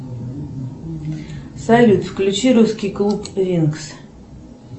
салют включи русский клуб винкс